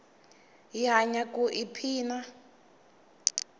hi hanya ku i phina